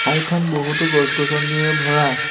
ঠাইখন বহুতো গছ গছনিৰে ভৰা।